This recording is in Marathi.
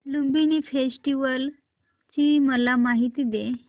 लुंबिनी फेस्टिवल ची मला माहिती दे